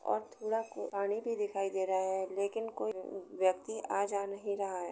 और थोड़ा कू पानी भी दिखाई दे रहा है लेकिन कोई व्यक्ति आ जा नहीं रहा है।